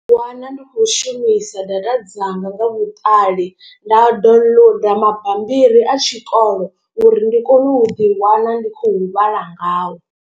Ndi ḓi wana ndi khou shumisa data dzanga nga vhuṱali nda downloader mabambiri a tshikolo uri ndi kone u ḓi wana ndi khou vhala ngao.